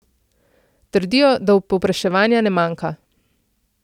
Trdijo, da povpraševanja ne manjka.